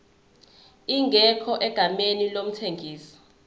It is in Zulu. ingekho egameni lomthengisi